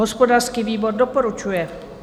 Hospodářský výbor doporučuje.